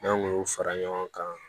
N'an kun y'u fara ɲɔgɔn kan